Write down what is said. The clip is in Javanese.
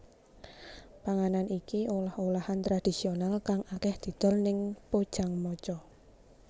Panganan iki olah olahan tradisional kang akèh didol ning Pojangmacha